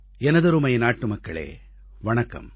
எனதருமை நாட்டுமக்களே வணக்கம்